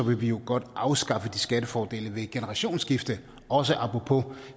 vil vi jo godt afskaffe de skattefordele ved generationsskifte også apropos